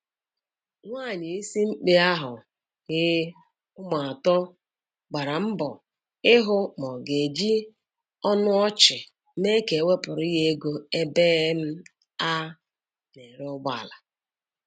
Nwanyị isimkpe ahụ i ụmụ atọ gbaraa mbọ ịhụ ma ọ ga eji ọnụ ọchị mee ka e wepụrụ ya ego ebe a na-ere ụgbọala.